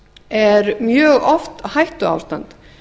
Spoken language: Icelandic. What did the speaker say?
er mjög oft hættuástand